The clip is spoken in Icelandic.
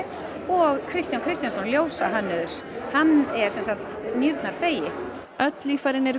og Kristján Kristjánsson ljósahönnuður hann er semsagt nýrnarþegi öll líffærin eru